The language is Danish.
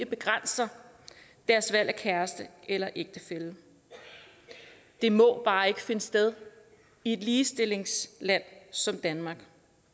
begrænser deres valg af kæreste eller ægtefælle det må bare ikke finde sted i et ligestillingsland som danmark